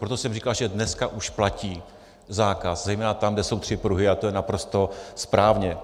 Proto jsem říkal, že dneska už platí zákaz zejména tam, kde jsou tři pruhy, a to je naprosto správně.